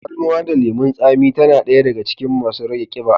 Tafarnuwa da lemun tsami tana daya daga cikin masu rage kiɓa.